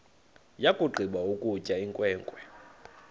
yakugqiba ukutya inkwenkwe